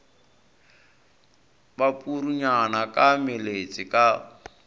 ba purunyana ka meletse ka